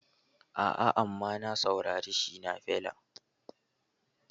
A'a, amma na saurari Shina Feller